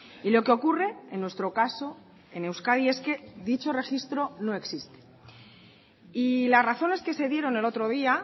y lo que ocurre en nuestro caso en euskadi es que dicho registro no existe y las razones que se dieron el otro día